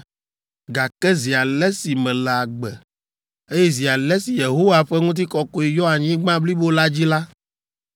Gake zi ale si mele agbe, eye zi ale si Yehowa ƒe ŋutikɔkɔe yɔ anyigba blibo la dzi la,